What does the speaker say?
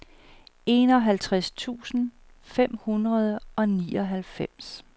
enoghalvtreds tusind fem hundrede og nioghalvfems